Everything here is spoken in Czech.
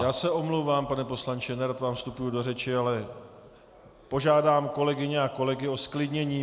Já se omlouvám, pane poslanče, nerad vám vstupuji do řeči, ale požádám kolegyně a kolegy o zklidnění.